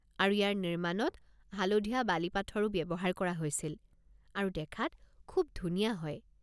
আৰু ইয়াৰ নিৰ্মাণত হালধীয়া বালিপাথৰো ব্যৱহাৰ কৰা হৈছিল আৰু দেখাত খুব ধুনীয়া হয়।